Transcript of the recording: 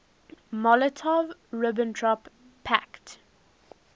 molotov ribbentrop pact